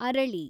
ಅರಳಿ